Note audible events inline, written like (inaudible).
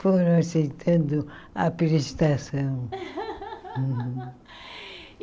Foram aceitando à prestação. (laughs)